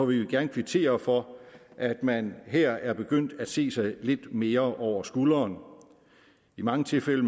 vil vi gerne kvittere for at man her er begyndt at se sig lidt mere over skulderen i mange tilfælde